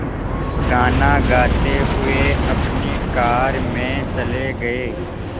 गाना गाते हुए अपनी कार में चले गए